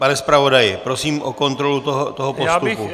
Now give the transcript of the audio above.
Pane zpravodaji, prosím o kontrolu toho postupu.